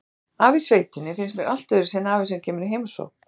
Afi í sveitinni finnst mér allt öðruvísi en afi sem kemur í heimsókn.